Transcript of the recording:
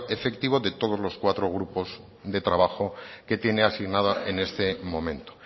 efectivo de los cuatro grupo de trabajo que tiene asignada en este momento